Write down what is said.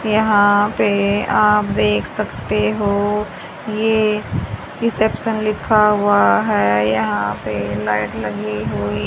यहां पे आप देख सकते हो यह रिसेप्शन लिखा हुआ है यहां पर लाइट लगी हुई।